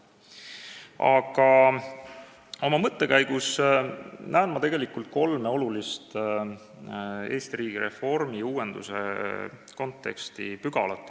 Aga oma mõttekäigus näen ma kolme olulist pügalat Eesti riigireformi, riigiuuenduse kontekstis.